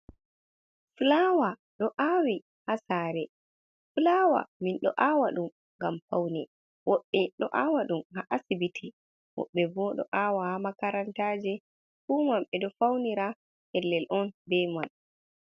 Fulawa ɗo aawi haa saare, fulawa min ɗo aawa ɗum ngam fawne, woɓɓe ɗo aawa ɗum haa asibiti, woɓɓe bo ɗo aawa haa makarantaje, fu man ɓe ɗo fawnira pellel on, be man.